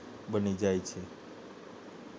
બની જાય છે